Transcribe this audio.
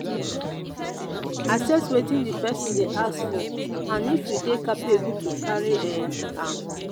assess wetin di person dey ask for and if you dey capable to carry um am